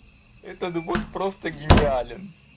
этот год просто гениален